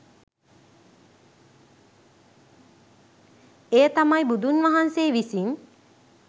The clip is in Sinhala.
එය තමයි බුදුන් වහන්සේ විසින්